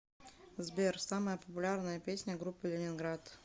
сбер самая популярная песня группы лениниград